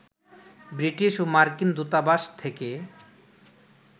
British ও মার্কিন দূতাবাস থেকে